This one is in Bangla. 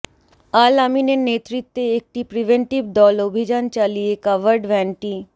আল আমিনের নেতৃত্বে একটি প্রিভেন্টিভ দল অভিযান চালিয়ে কাভার্ডভ্যানটি